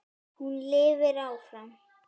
Hún lifir áfram.